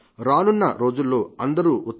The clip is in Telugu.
రానున్న రోజుల్లో అందరూ ఉత్సవాల్లో మునిగి ఉండవచ్చు